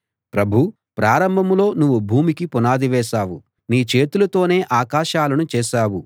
ప్రభూ ప్రారంభంలో నువ్వు భూమికి పునాది వేశావు నీ చేతులతోనే ఆకాశాలను చేశావు